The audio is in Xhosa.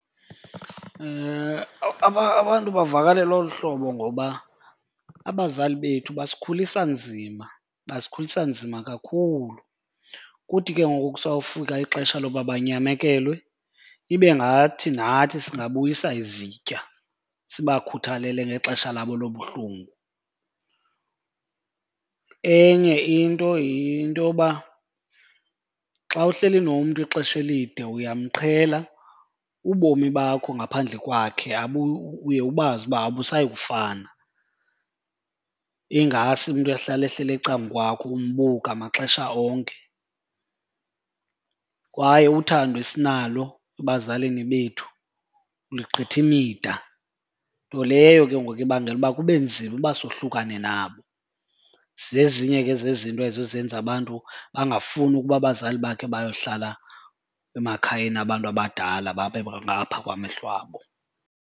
Abantu bavakalelwa olu hlobo ngoba abazali bethu basikhulisa nzima, basikhulisa nzima kakhulu. Kuthi ke ngoku kusawufika ixesha loba banyamekelwe ibe ngathi nathi singabuyisa izitya sibakhuthalele ngexesha labo lobuhlungu. Enye into yinto yoba xa uhleli nomntu ixesha elide uyamqhela, ubomi bakho ngaphandle kwakhe uye ubazi uba abusayi kufana. Ingase umntu ehlale ehleli ecamkwakho umbuka maxesha onke. Kwaye uthando esinalo ebazalini bethu lugqitha imida, nto leyo ke ngoku ibangela uba kube nzima uba sohlukane nabo. Zezinye ke zezinto ezo ezenza abantu bangafuni ukuba abazali bakhe bayohlala emakhayeni abantu abadala babe ngaphaa kwamehlo abo.